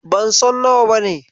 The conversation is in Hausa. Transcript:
Ban san nawa bane.